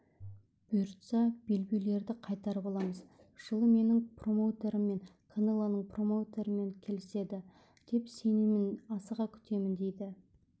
бұйыртса белбеулерді қайтарып аламыз жылы менің промоутерім мен канелоның промоутерімен келіседі деп сенемін асыға күтемін дейді